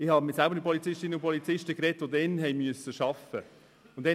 Ich habe mit Polizistinnen und Polizisten gesprochen, die damals im Einsatz waren.